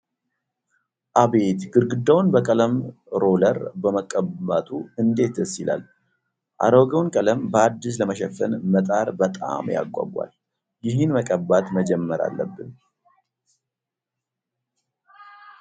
አቤት! ግድግዳውን በቀለም ሮለር መቀባቱ እንዴት ደስ ይላል! አሮጌውን ቀለም በአዲስ ለመሸፈን መጣር በጣም ያጓጓል! ይህን መቀባት መጀመር አለብን !